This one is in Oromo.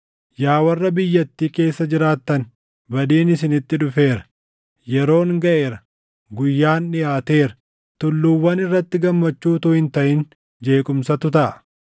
Yaa warra biyyattii keessa jiraattan, badiin isinitti dhufeera. Yeroon gaʼeera; guyyaan dhiʼaateera; tulluuwwan irratti gammachuu utuu hin taʼin jeequmsatu taʼa.